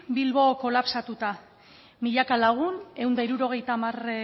bilbo kolapsatuta milaka lagun ehun eta hirurogeita hamar